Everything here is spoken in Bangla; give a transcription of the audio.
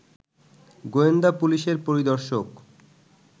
গোয়েন্দা পুলিশের পরিদর্শক